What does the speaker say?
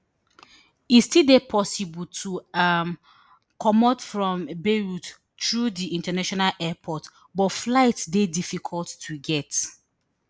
e still dey possible to um comot from beirut through di international airport but flights dey difficult to get